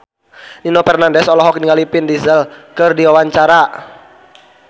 Nino Fernandez olohok ningali Vin Diesel keur diwawancara